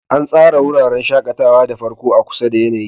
An tsara wuraren shakatawa da farko a kusa da yanayi.